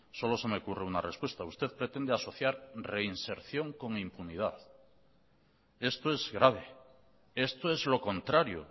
solo se me ocurre una respuesta usted pretende asociar reinserción con impunidad esto es grave esto es lo contrario